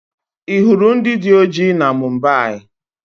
Ị hụrụ ndị dị ọjị na Mumbai?